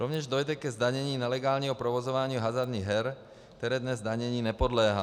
Rovněž dojde ke zdanění nelegálního provozování hazardních her, které dnes zdanění nepodléhá.